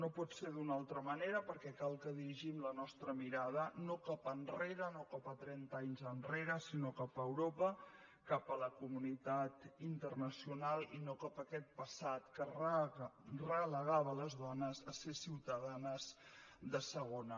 no pot ser d’una altra manera perquè cal que dirigim la nostra mirada no cap enrere no cap a trenta anys enrere sinó cap a europa cap a la comunitat internacional i no cap a aquest passat que relegava les dones a ser ciutadanes de segona